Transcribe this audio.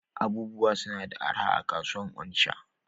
Abubuwa suna da araha a'kasuwan Onitsha.